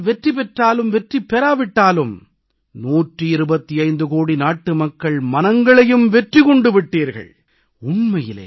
நீங்கள் ஆட்டத்தில் வெற்றி பெற்றாலும் வெற்றி பெறா விட்டாலும் 125 கோடி நாட்டு மக்கள் மனங்களையும் வெற்றி கொண்டு விட்டீர்கள்